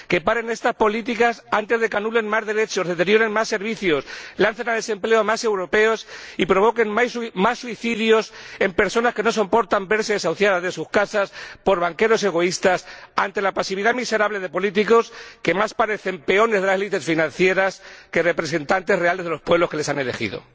que paren estas políticas antes de que anulen más derechos, deterioren más servicios, lancen al desempleo a más europeos y provoquen más suicidios de personas que no soportan verse desahuciadas de sus casas por banqueros egoístas, ante la pasividad miserable de políticos que más parecen peones de las élites financieras que representantes reales de los pueblos que les han elegido.